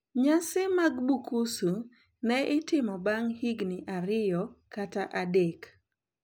Nyasi mag Bukusu ne itimo bang` higni ariyo kata adek.